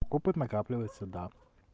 опыт накапливается да